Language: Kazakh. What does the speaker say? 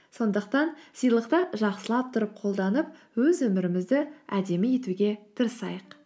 сондықтан сыйлықты жақсылап тұрып қолданып өз өмірімізді әдемі етуге тырысайық